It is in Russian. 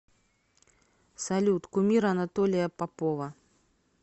салют кумир анатолия попова